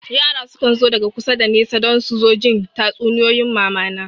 Yara sukan zo daga kusa da nesa don su zo jin tatsuniyoyin mamana